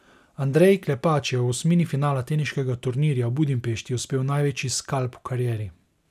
Andreji Klepač je v osmini finala teniškega turnirja v Budimpešti uspel največji skalp v karieri.